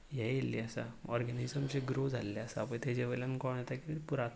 हे येल्ले आसा ऑर्गेनिजम जे ग्रो जाल्ले आसा पये तेजेवयल्यान कळोन येता कि पुरात --